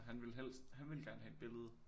Han ville helst han ville gerne have et billede